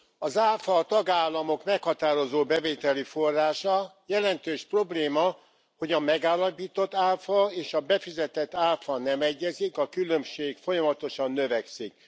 Az áfa a tagállamok meghatározó bevételi forrása, jelentős probléma, hogy a megállapított áfa és a befizetett áfa nem egyezik, a különbség folyamatosan növekszik.